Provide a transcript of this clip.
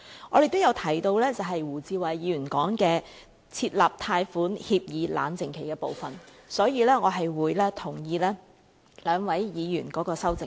我們亦有提到胡志偉議員提出的設立貸款協議冷靜期的部分，所以我會贊同兩位議員的修正案。